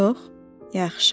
Yox, yaxşı.